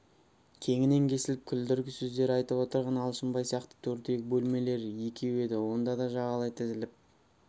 кеңінен кесіліп күлдіргі сөздер айтып отырған алшынбай сияқты төрдегі бөлмелер екеу еді онда да жағалай тізіліп